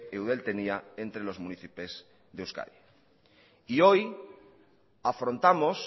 eudel tenía entre los municipios de euskadi hoy afrontamos